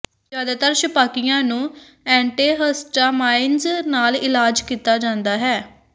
ਜ਼ਿਆਦਾਤਰ ਛਪਾਕੀਆਂ ਨੂੰ ਐਂਟੀਿਹਸਟਾਮਾਈਨਜ਼ ਨਾਲ ਇਲਾਜ ਕੀਤਾ ਜਾਂਦਾ ਹੈ